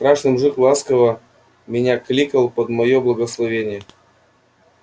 страшный мужик ласково меня кликал под моё благословение